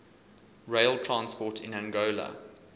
rail transport in angola